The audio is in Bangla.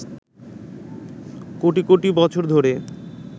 কোটি কোটি বছর ধরে